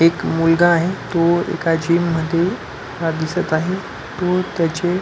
एक मुलगा आहे तो एका जिम मध्ये दिसत आहे तो त्याचे--